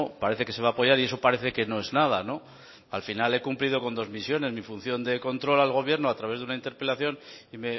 parece que se va a apoyar y eso parece que no es nada al final he cumplido con dos misiones mi función de control al gobierno a través de una interpelación y